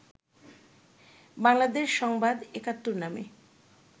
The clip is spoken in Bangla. বাংলাদেশ সংবাদ ৭১ নামে